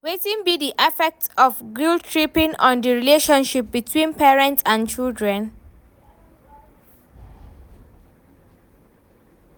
Wetin be di affect of guilt-tripping on di relationship between parents and children?